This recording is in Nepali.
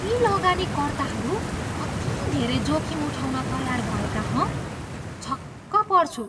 यी लगानीकर्ताहरू कति धेरै जोखिम उठाउन तयार भएका, हँ? छक्क पर्छु।